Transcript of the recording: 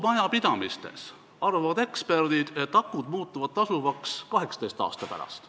Eksperdid arvavad, et kodumajapidamistes muutuvad akud tasuvaks 18 aasta pärast.